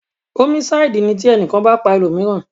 Ómísáídì ní ti ẹnìkan bá pa ẹlòmíràn